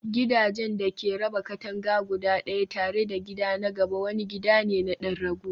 gidajen da ke raba katanga guda ɗaya tare da gida na gaba wani gida ne na ɗan rago.